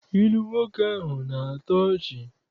Ilu nwoke ahụ na-atọ ọchị.